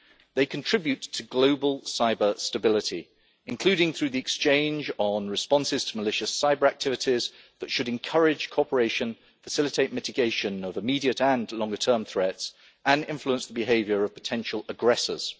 They contribute to global cyber stability, including through the exchange on responses to malicious cyber activities that should encourage cooperation, facilitate mitigation of immediate and longer term threats, and influence the behaviour of potential aggressors.